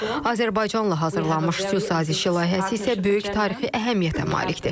Azərbaycanla hazırlanmış sülh sazişi layihəsi isə böyük tarixi əhəmiyyətə malikdir.